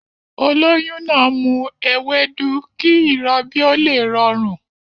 Olóyún náà ń mu ewédú kí ìrọbí ó lè rọrùn